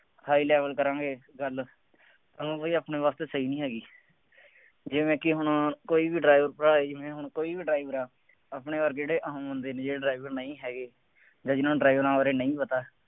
high level ਕਰਾਂਗੇ, ਗੱਲ, ਹੁਣ ਬਈ ਆਪਣੇ ਵਾਸਤੇ ਸਹੀ ਨਹੀਂ ਹੈਗੀ। ਜਿਵੇ ਕਿ ਹੁਣ ਕੋਈ ਵੀ driver ਭਰਾ ਹੀ, ਜਿਵੇ ਹੁਣ ਕੋਈ ਵੀ drive ਕਰ ਰਿਹਾ, ਆਪਣੇ ਵਰਗੇ ਜਿਹੜੇ ਆਮ ਬੰਦੇ ਨੇ ਜਿਹੜੇ driver ਨਹੀਂ ਹੈਗੇ, ਜਾਂ ਜਿੰਨਾ ਨੂੰ driving ਦਾ ਉਰੇ ਨਹੀਂ ਪਤਾ।